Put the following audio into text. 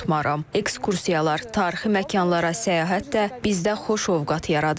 Ekskursiyalar, tarixi məkanlara səyahət də bizdə xoş ovqat yaradır.